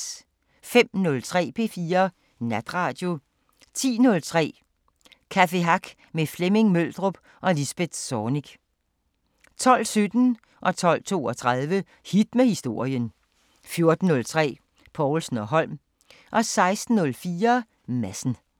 05:03: P4 Natradio 10:03: Café Hack med Flemming Møldrup og Lisbeth Zornig 12:17: Hit med historien 12:32: Hit med historien 14:03: Povlsen & Holm 16:04: Madsen